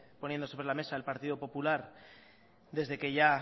poniendo sobre la mesa el partido popular desde que ya